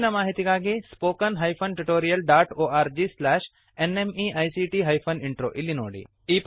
ಹೆಚ್ಚಿನ ಮಾಹಿತಿಗಾಗಿ spoken hyphen tutorial dot org slash NMEICT hyphen intro ಇಲ್ಲಿ ನೋಡಿ